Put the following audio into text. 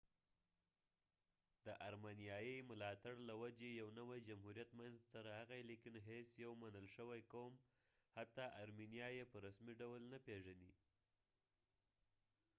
د ارمنیایي ملاتړ له وجې یو نوی جمهوریت منځته راغی لیکن هیڅ یو منل شوي قوم حتی ارمنیا یې په رسمي ډول نه پیژني